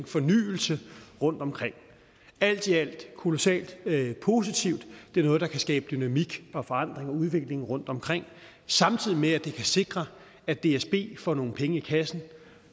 fornyelse rundtomkring alt i alt er kolossalt positivt og det er noget der kan skabe dynamik forandring og udvikling rundtomkring samtidig med at det kan sikre at dsb får nogle penge i kassen